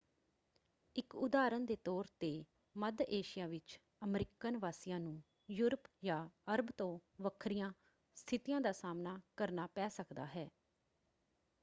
ਇਕ ਉਦਾਹਰਨ ਦੇ ਤੌਰ 'ਤੇ ਮੱਧ ਏਸ਼ੀਆ ਵਿੱਚ ਅਮਰੀਕਨ ਵਾਸੀਆਂ ਨੂੰ ਯੂਰਪ ਜਾਂ ਅਰਬ ਤੋਂ ਵੱਖਰੀਆਂ ਸਥਿਤੀਆਂ ਦਾ ਸਾਹਮਣਾ ਕਰਨਾ ਪੈ ਸਕਦਾ ਹੈ।